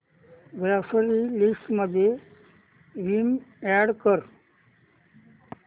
grocery list मध्ये Vim add कर